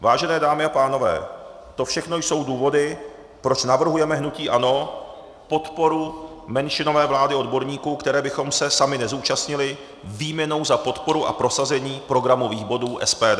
Vážené dámy a pánové, to všechno jsou důvody, proč navrhujeme hnutí ANO podporu menšinové vlády odborníků, které bychom se sami nezúčastnili, výměnou za podporu a prosazení programových bodů SPD.